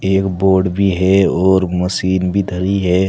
एक बोर्ड भी है और मशीन भी धरी है।